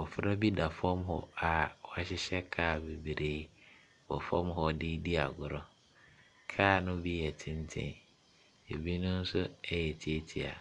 Abfra bi da fam hɔ a wahyehyɛ kaa bebree wɔ fam hɔ de redi agorɔ. Kaa no bi yɛ tente, binom nso yɛ tiatia.